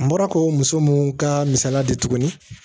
N bɔra k'o muso mun ka misaliya di tuguni